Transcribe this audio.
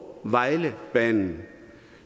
vejle banen